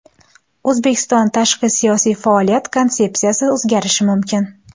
O‘zbekiston tashqi siyosiy faoliyat konsepsiyasi o‘zgarishi mumkin.